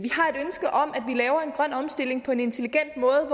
grøn omstilling på en intelligent måde